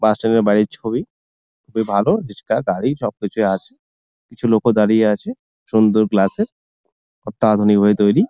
বাড়ির ছবি খুবই ভালো রিক্সা গাড়ি সবকিছুই আছে | কিছু লোকও দাঁড়িয়ে আছে | সুন্দর গ্লাসের অত্যাআধুনিক ভাবে তৈরি।